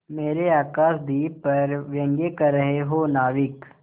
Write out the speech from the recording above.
मेरे आकाशदीप पर व्यंग कर रहे हो नाविक